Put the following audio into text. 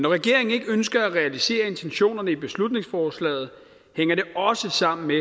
regeringen ikke ønsker at realisere intentionerne i beslutningsforslaget hænger det også sammen med